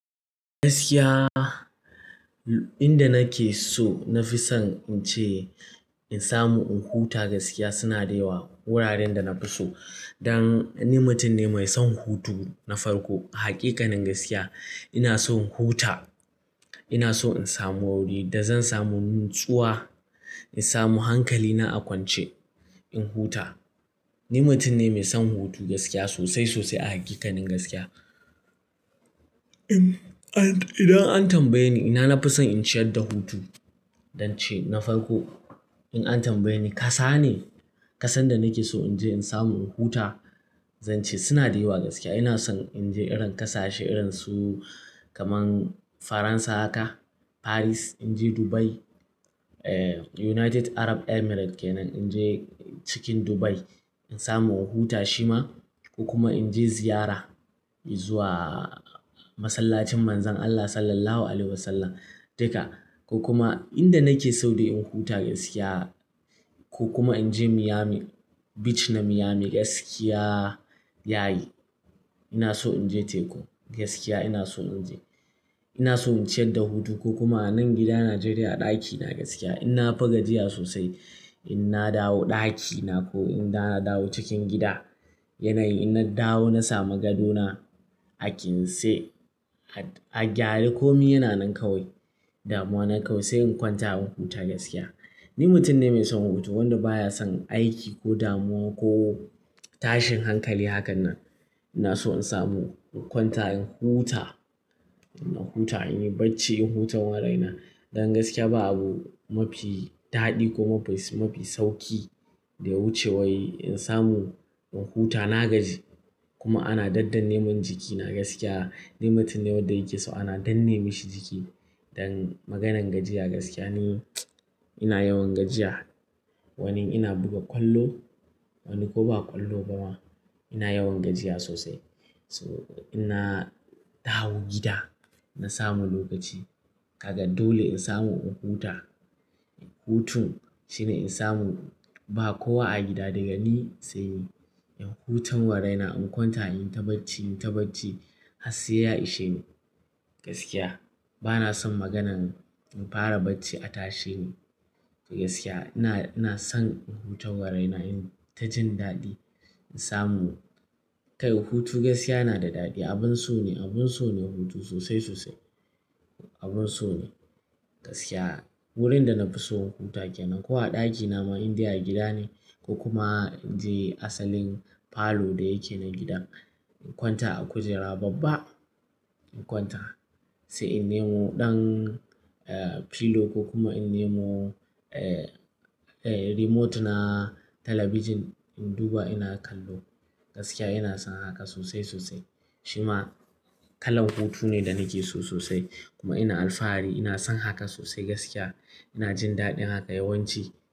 Gaskiya, inda nake so na fi son in ce in samu in huta gaskiya, suna da yawa wuraren da na fi so. Dan ni mutum ne mai son hutu na farko. Haƙiƙanin gaskiya ina son huta, ina so in samu wuri da zan samu natsuwa, in samu hankali na a kwance, in huta. Ni mutum ne mai son hutu gaskiya sosai, sosai a hakikanin gaskiya. Idan an tambaye ni, ina na fi son in ciyar da hutu? Zan ce na farko in an tambaye ni kasa ne, kasar da nake so in je in samu in huta, zan ce suna da yawa gaskiya. Ina son in je irin kasashe irin su kamar Faransa haka, Paris, in je Dubai, eh, United Arab Emirates kenan, in je cikin Dubai in samu in huta shima ko kuma in je ziyara in zuwa masallacin Manzon Allah Sallallahu Alaihi Wasallam. Haka ko kuma inda nake so da in huta gaskiya ko kuma in je Niami Beach na Niami gaskiya yayi. Ina so in je tekun gaskiya ina so in je. Ina so in ciyar da hutu ko kuma a nan gida Nigeria ɗaki na gaskiya. In na fi gajiya sosai, in na dawo ɗaki na ko in na dawo cikin gida yanayi, in na dawo na samu gadona a ƙintse, a gyare komi yana nan kawai, damuwa nan kawai sai in kwanta in huta gaskiya. Ni mutum ne mai son hutu wanda baya son aiki ko damuwa ko tashin hankali hakan nan. Ina so in samu in kwanta in huta, in huta, in yi bacci, in huta wa raina. Dan gaskiya abu mafi daɗi ko mafi sauƙi da wuce wai in samu in huta. Na gaji kuma ana daddan neman jikina gaskiya. Ni mutum ne wanda yake so ana danne mashi jiki. Dan maganan gajiya gaskiya ne. Ina yawan gajiya. Wani ina buga ƙwallo, wani ko ba ƙwallo ba ma ina yawan gajiya sosai. So ina dawo gida na samu lokaci. Kaga dole in samu in huta. Hutun shine in samu ba kowa a gida daga ni sai yi. In huta wa raina, in kwanta, in yi ta bacci, in yi ta bacci, harse ya ishe ni gaskiya. Bana son maganan in fara bacci a tashe ni gaskiya. Ina, ina son in huta wa raina, in ta jin daɗi, in samu. Kai, hutu gaskiya yana da daɗi. Abin so ne, abin so ne hutu sosai sosai. Abin so ne gaskiya. Wurin da na fi so in huta kenan ko a ɗakina ma in dai a gida ne ko kuma in je asalin falo da yake na gidan, in kwanta a kujera babba, in kwanta sai in nemo ɗan, eh, pillow ko kuma in nemo, eh, remote na talabijin, in duba ina kallo gaskiya. Ina son haka sosai-sosai. Shima kalan hutu ne da nake so sosai kuma ina alfahari. Ina son haka sosai gaskiya. Ina jin daɗin haka yawanci.